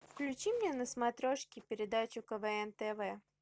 включи мне на смотрешке передачу квн тв